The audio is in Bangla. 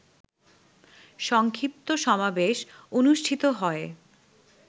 সংক্ষিপ্ত সমাবেশ অনুষ্ঠিত হয়